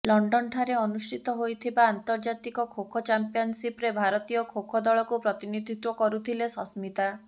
London ଠାରେ ଅନୁଷ୍ଠିତ ହୋଇଥିବା ଆନ୍ତର୍ଜାତିକ ଖୋଖୋ ଚାମ୍ପିୟନସିପରେ ଭାରତୀୟ ଖୋଖୋ ଦଳକୁ ପ୍ରତିନିଧିତ୍ୱ କରୁଥିଲେ ସସ୍ମିତା